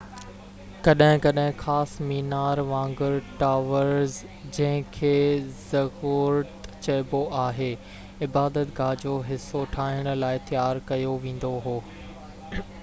ڪڏهن ڪڏهن خاص مينار وانگر ٽاورز جنهن کي زگورت چئبو آهي عبادت گاه جو حصو ٺاهڻ لاءِ تيار ڪيو ويندو هو